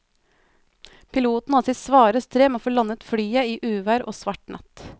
Piloten hadde sitt svare strev med å få landet flyet i uvær og svart natt.